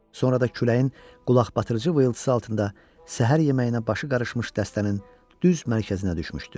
Sonra da küləyin qulaqbatırıcı vıyıltısı altında səhər yeməyinə başı qarışmış dəstənin düz mərkəzinə düşmüşdü.